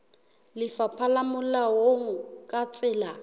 lefapha le molaong ka tsela